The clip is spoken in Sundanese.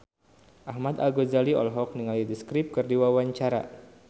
Ahmad Al-Ghazali olohok ningali The Script keur diwawancara